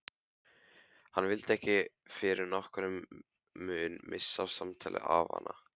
Hann vildi ekki fyrir nokkurn mun missa af samtali afanna.